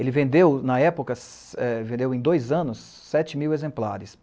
Ele vendeu, na época, vendeu em dois anos, sete mil exemplares.